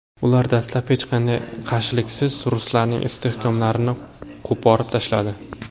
Ular dastlab hech qanday qarshiliksiz ruslarning istehkomlarini qo‘porib tashladi.